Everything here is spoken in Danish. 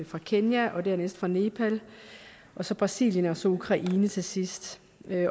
fra kenya og dernæst fra nepal og så brasilien og så ukraine til sidst